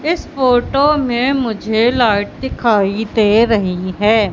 इस फोटो में मुझे लाइट दिखाई दे रही है।